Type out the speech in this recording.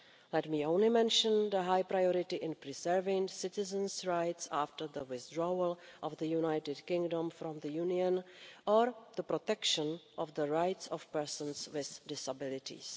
Let me only mention the high priority in preserving citizens' rights after the withdrawal of the United Kingdom from the Union, or the protection of the rights of persons with disabilities.